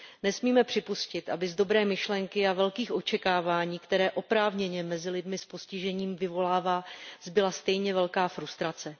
Nesmíme připustit, aby z dobré myšlenky a velkých očekávání, které oprávněně mezi lidmi s postižením vyvolává, zbyla stejně velká frustrace.